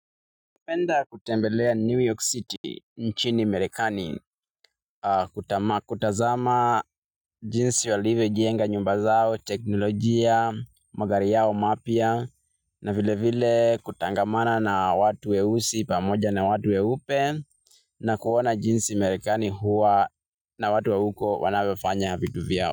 Ningependa kutembelea New York City, nchini Amerikani kutazama jinsi walivyo jienga nyumba zao, teknolojia, magari yao mapya na vile vile kutangamana na watu weusi pamoja na watu weupe na kuona jinsi Amerekani hua na watu wa huko wanavyofanya vitu vyao.